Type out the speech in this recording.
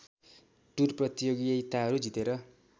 tour प्रतियोगिताहरू जितेर